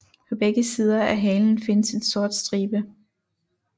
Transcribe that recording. På begge sider af halen findes en sort stribe